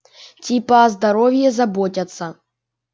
типа о здоровье заботятся